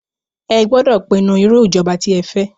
Ẹ gbódọ̀ pinnu irú ìjọba tí ẹ fẹ́!